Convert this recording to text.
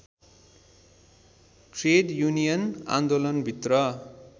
trade union आन्दोलनभित्र